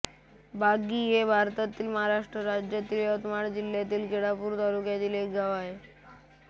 बाग्गी हे भारतातील महाराष्ट्र राज्यातील यवतमाळ जिल्ह्यातील केळापूर तालुक्यातील एक गाव आहे